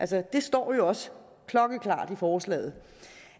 det står jo også klokkeklart i forslaget